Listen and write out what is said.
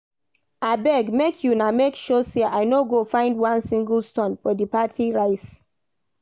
Abeg make una make sure say I no go find one single stone for the party rice